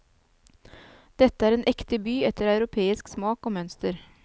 Dette er en ekte by etter europeisk smak og mønster.